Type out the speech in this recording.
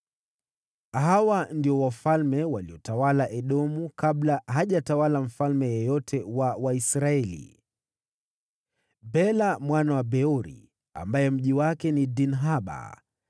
Hawa ndio wafalme waliotawala Edomu kabla hajatawala mfalme yeyote wa Waisraeli: Bela mwana wa Beori, ambaye mji wake ni Dinhaba.